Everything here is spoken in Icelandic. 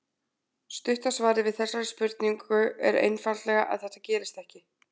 Stutta svarið við þessari spurningu er einfaldlega að þetta gerist ekki.